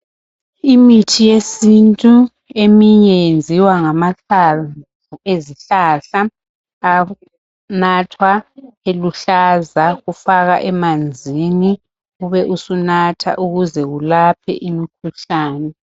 Imithi yesintu eminye yenziwa ngamahlamvu ezihlahla. Anathwa eluhlaza, kufakwa emanzini, ube usunatha ukuze kulaphe imkhuhlane.